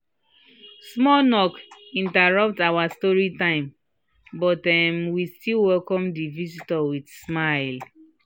small knock interrupt our story time but um we still welcome the visitors with smile